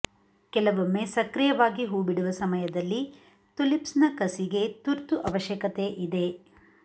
ಕೆಲವೊಮ್ಮೆ ಸಕ್ರಿಯವಾಗಿ ಹೂಬಿಡುವ ಸಮಯದಲ್ಲಿ ತುಲಿಪ್ಸ್ನ ಕಸಿಗೆ ತುರ್ತು ಅವಶ್ಯಕತೆ ಇದೆ